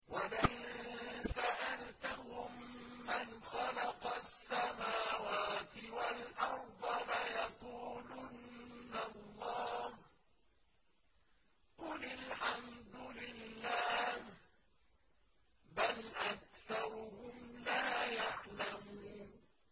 وَلَئِن سَأَلْتَهُم مَّنْ خَلَقَ السَّمَاوَاتِ وَالْأَرْضَ لَيَقُولُنَّ اللَّهُ ۚ قُلِ الْحَمْدُ لِلَّهِ ۚ بَلْ أَكْثَرُهُمْ لَا يَعْلَمُونَ